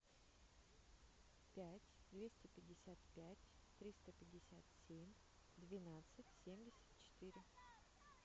пять двести пятьдесят пять триста пятьдесят семь двенадцать семьдесят четыре